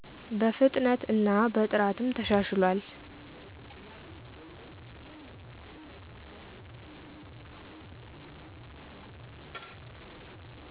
በፍጥነት እና በጥራትም ተሻሽሏል።